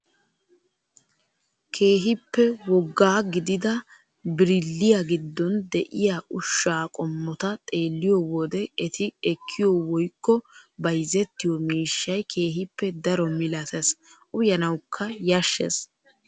Keehippe woggaa gidida birilliyaa giddon de'iyaa ushshaa qommota xeelliyoo wode eti ekkiyoo woykko bayzettiyoo miishshay keehippe daro milatees uyanawukka yashshees.